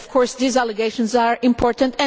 But of course these allegations are important.